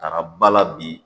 Taara ba la bi